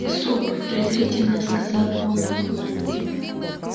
суп презрительно сказал он